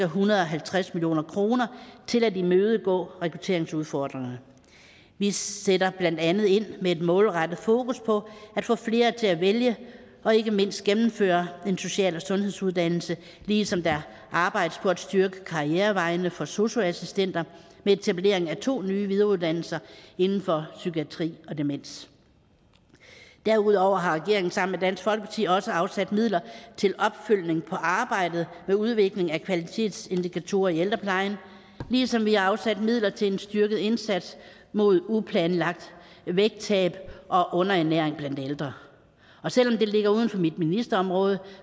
hundrede og halvtreds million kroner til at imødegå rekrutteringsudfordringerne vi sætter blandt andet ind med et målrettet fokus på at få flere til at vælge og ikke mindst gennemføre en social og sundhedsuddannelse ligesom der arbejdes på at styrke karrierevejene for sosu assistenter med etablering af to nye videreuddannelser inden for psykiatri og demens derudover har regeringen sammen med dansk folkeparti også afsat midler til en opfølgning på arbejdet med udvikling af kvalitetsindikatorer i ældreplejen ligesom vi har afsat midler til en styrket indsats mod uplanlagt vægttab og underernæring blandt ældre og selv om det ligger uden for mit ministerområde